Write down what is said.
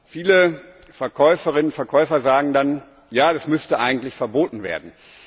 Viele Verkäuferinnen und Verkäufer sagen dann Ja, das müsste eigentlich verboten werden.